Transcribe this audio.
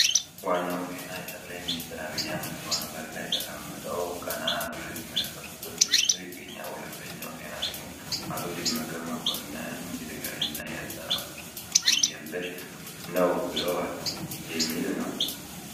ዋናው ዜና ጠቅላይ ሚኒስትር ዐቢይ አህመድ ከወንበር ላይ ተቀምጠው ቀና ብለው የሚመለከቱበት ምስል ይገኛል። ሁለተኛው ዜና ደግሞ "አቶ ደመቀ መኮንን የትግራይና የኤርትራ ውዝግብ ትርጉም የለሽ ነው ብለዋል" የሚል ነው።